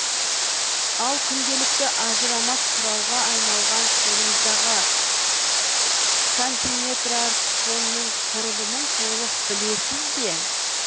ал күнделікті ажырамас құралға айналған қолыңыздағы сантиметрартфонның құрылымын толық білесіз бе